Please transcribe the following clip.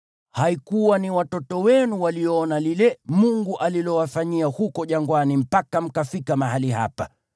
Sio watoto wenu walioyaona yale Mungu aliyowafanyia huko jangwani mpaka mkafika mahali hapa,